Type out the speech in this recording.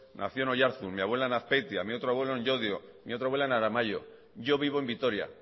nació en oyarzun mi abuela en azpeitia mi otro abuelo en llodio mi otra abuela en aramaio yo vivo en vitoria